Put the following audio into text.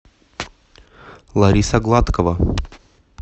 лариса гладкова